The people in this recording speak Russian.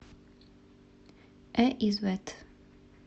э извэт